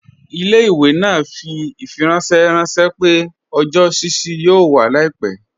Ilẹ̀-ìwé naa fi ifiranṣẹ ranṣẹ̀ pẹ̀ ọjọ́ ṣíṣí yóò wà làìpẹ.